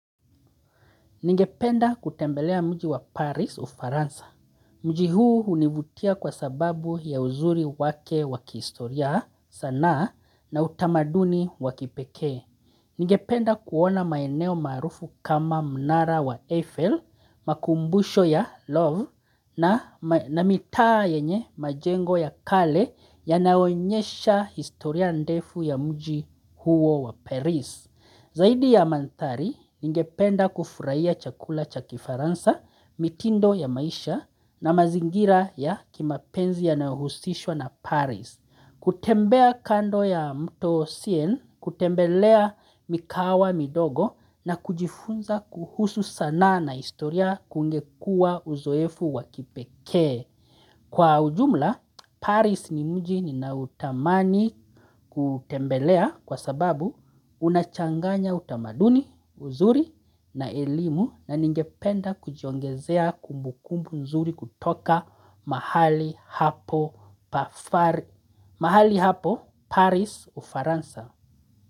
Ningependa kutembelea mji wa Paris Ufaransa. Mji huu hunivutia kwa sababu ya uzuri wake waki historia sanaa na utamaduni wakipekee Ningependa kuona maeneo maarufu kama mnara wa Eiffel, makumbusho ya Lov na mitaa yenye majengo ya kale ya naonyesha historia ndefu ya mji huo wa Paris. Zaidi ya mandhari ningependa kufurahia chakula chakifaransa, mitindo ya maisha na mazingira ya kimapenzi yanayohusishwa na paris. Kutembea kando ya mto Sien, kutembelea mikawa midogo na kujifunza kuhusu sanaa na historia kungekua uzoefu wa kipekee. Kwa ujumla, Paris ni mji ninautamani kutembelea kwa sababu unachanganya utamaduni, uzuri na elimu na ningependa kujiongezea kumbukumbu nzuri kutoka mahali ha mahali hapo Paris ufaransa.